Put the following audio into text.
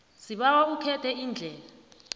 sibawa ukhethe iindlela